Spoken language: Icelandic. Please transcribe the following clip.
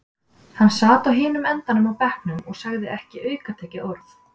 Hann sat á hinum endanum á bekknum og sagði ekki aukatekið orð.